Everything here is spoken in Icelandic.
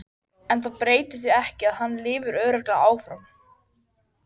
En það breytir því ekki að hann lifir örugglega áfram.